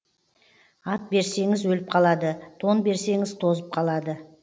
ат берсеңіз өліп қалады тон берсеңіз тозып қалады